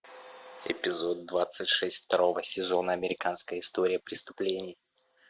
эпизод двадцать шесть второго сезона американская история преступлений